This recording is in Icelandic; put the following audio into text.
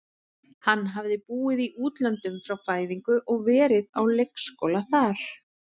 Hann hafði búið í útlöndum frá fæðingu og verið á leikskóla þar.